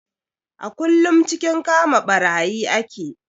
A kullum cikin kama ɓarayi ake